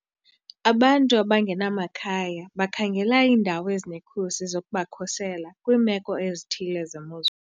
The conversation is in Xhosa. Abantu abangenamakhaya bakhangela iindawo ezinekhusi zokubakhusela kwiimeko ezithile zemozulu.